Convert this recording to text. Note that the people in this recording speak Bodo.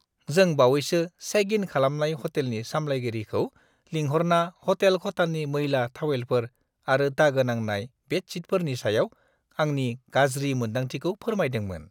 जों बावैसो चेक इन खालामनाय हटेलनि सामलायगिरिखौ लिंहरना हटेल खथानि मैला थावेलफोर आरो दागो नांनाय बेडशीटफोरनि सायाव आंनि गाज्रि मोन्दांथिखौ फोरमायदोंमोन ।